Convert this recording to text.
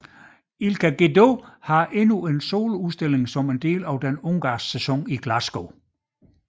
Ilka Gedő har endnu en soloudstilling som en del af den ungarske sæson i Glasgow